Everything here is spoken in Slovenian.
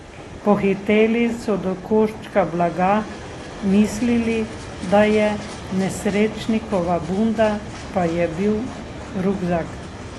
Pohiteli so do koščka blaga, mislili, da je nesrečnikova bunda, pa je bil rukzak.